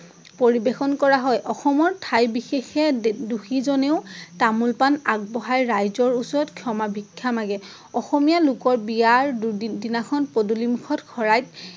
পৰিবেশন কৰা হয়। অসমৰ ঠাই বিশেষে দোষী জনেও তামোল পাণ আগবঢ়াই ৰাইজৰ ওচৰত ক্ষমা ভিক্ষা মাগে। অসমীয়া লোকৰ বিয়াৰ দিনাখন পদুলিমুখত শৰাইত